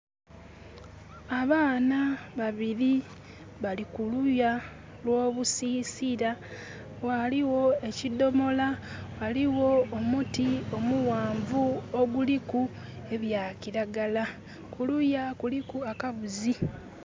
Abaana babiri bali kuluya gh'obusisira, ghaligho ekidomola, ghaligho omuti omughanvu oguliku ebya kiragala, kuluya kuliku akabuzi.